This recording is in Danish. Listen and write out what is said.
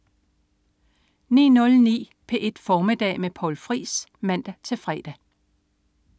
09.09 P1 Formiddag med Poul Friis (man-fre)